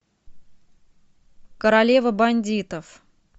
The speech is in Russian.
королева бандитов